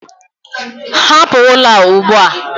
Hapụ ụlọ a ugbu a!